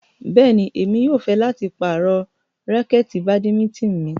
Bẹ́ẹ̀ni, Emi yóò fẹ lati parọ rakẹti badimitini mi